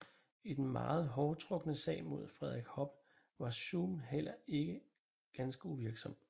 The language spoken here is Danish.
I den meget hårtrukne sag mod Frederik Hoppe var Suhm heller ikke ganske uvirksom